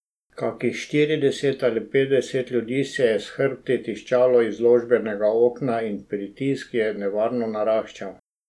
Kakih štirideset ali petdeset ljudi se je s hrbti tiščalo izložbenega okna in pritisk je nevarno naraščal.